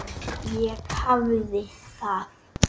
Ég hafði það af.